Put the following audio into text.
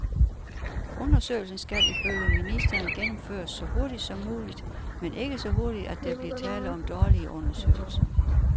Undersøgelsen skal ifølge ministeren gennemføres så hurtigt som muligt, men ikke så hurtigt, at der blive tale om dårlige undersøgelser.